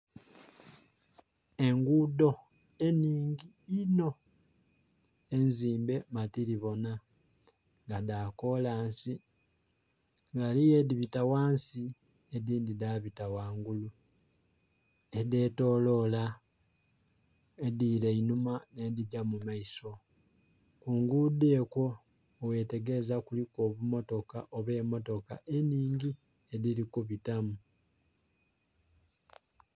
Enguudo enhingi inho enzimbe matiribona nga dha kolansi, ghaligho edhibita ghansi edhindhi dhabita ghangulu, edhetoloola, edhiila einhuma n'edhigya mu maiso. Ku nguudo okwo bweghetegereza kuliku obummotoka oba emmotoka enhingi edhili kubitamu.